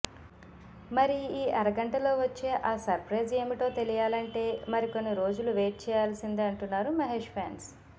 మరి ఈ అరగంటలో వచ్చే ఆ సర్ప్రైజ్ ఏమిటో తెలియాలంటే మరికొన్ని రోజులు వెయిట్ చేయాల్సిందే అంటున్నారు మహేష్ ఫ్యాన్స్